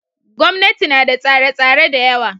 Gwamnati ma da tsare tsare dayawa